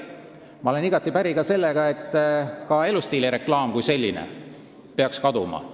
Ma olen päri ka sellega, et elustiilireklaam kui selline peaks kaduma.